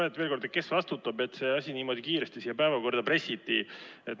Küsin veel kord: kes vastutab, et see asi niimoodi kiiresti siia päevakorda pressiti?